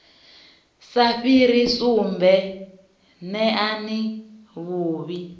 sa fhiri sumbe neani vhuvhi